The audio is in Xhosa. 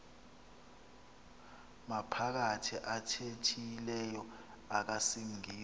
maphakathi athethileyo akusingisa